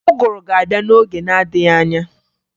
Ụgụru ga-abịa n'oge na-adịghị anya